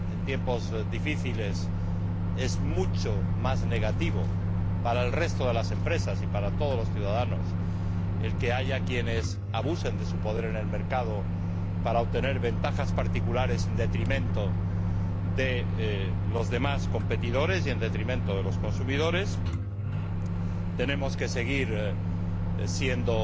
En tiempos difíciles es mucho más negativo para las empresas y para todos los ciudadanos que haya quienes abusen de su poder en el mercado para obtener ventajas particulares en detrimento de los demás competidores y en detrimento de los consumidores. Tenemos que seguir siendo